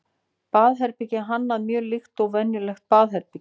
baðherbergið er hannað mjög líkt og venjulegt baðherbergi